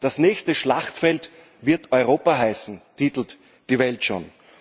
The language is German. Das nächste Schlachtfeld wird Europa heißen, titelt Die Welt schon.